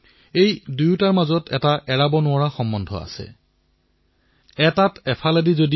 এই দুয়োটাৰ মাজৰ সম্পৰ্ক গভীৰ